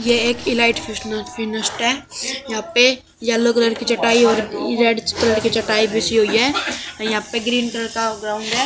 ये एक यहां पे येलो कलर की चटाई और रेड कलर की चटाई बिछी हुई है। यहां पर ग्रीन कलर का--